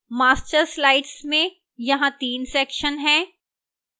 master slides में यहां 3 sections हैं